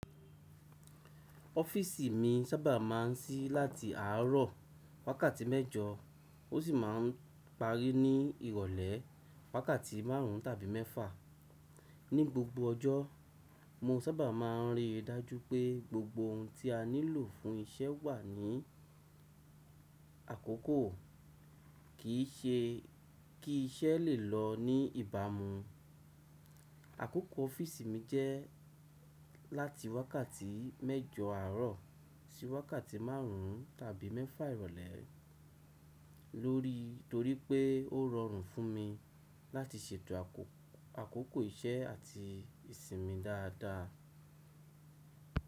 Ọ́fíìsì mi sábà máa ń sí láti àárọ̀ wákàtí mẹ́jọ, ó sì máà ń parí ní ìrọ̀lẹ́ wákàtí márùn tàbí mẹ́fà. Ni gbogbo ọjọ́, mo sábà máa ń rí i dájú pé gbogbo ohun tí a nílò fún isẹ́ wà ní àkókò, kì í ṣe kí isẹ́ lè lọ ní ìbámu. Àkókò ọ́fíìsì mi jẹ́ láti wákàtí mẹ́jọ àárọ̀ sí wákàtí márùn tàbí mẹ́fà ìrọ̀lẹ́ lórí torí pé ó rọrùn fún mi láti ṣètò àkókò iṣẹ́ àti ìsinmi dáadáa.